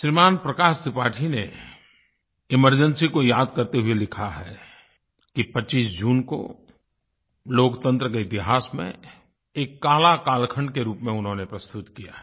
श्रीमान प्रकाश त्रिपाठी ने एमरजेंसी को याद करते हुए लिखा है कि 25 जून को लोकतंत्र के इतिहास में एक काला कालखंड के रूप में उन्होंने प्रस्तुत किया है